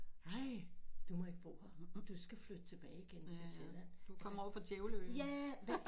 Ej du må ikke bo her du skal flytte tilbage igen til Sjælland ja